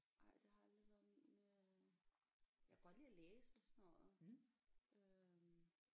Ej det har aldrig været min øh jeg kunne godt lide at læse og sådan noget øh